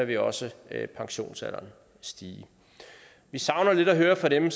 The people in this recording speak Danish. vi også pensionsalderen stige vi savner lidt at høre fra dem